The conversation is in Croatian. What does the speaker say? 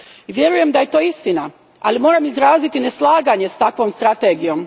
Vjerujem da je to istina, ali moram izraziti neslaganje s takvom strategijom.